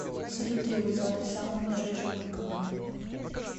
салют требуется адрес самого ближайшего банкомата